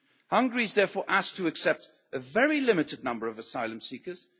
Hungary is therefore asked to accept a very limited number of asylum seekers